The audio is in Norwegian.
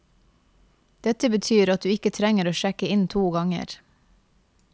Dette betyr at du ikke trenger å sjekke inn to ganger.